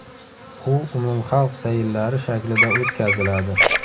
U umumxalq sayillari shaklida o‘tkaziladi.